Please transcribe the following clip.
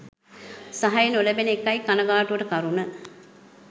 සහය නොලැබෙන එකයි කණගාටුවට කරුණ.